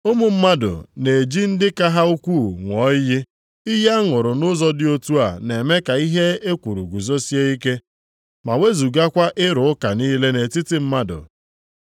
Ụmụ mmadụ na-eji ndị ka ha ukwuu ṅụọ iyi, iyi aṅụrụ nʼụzọ dị otu a na-eme ka ihe e kwuru guzosie ike ma wezugakwa ịrụ ụka niile nʼetiti mmadụ.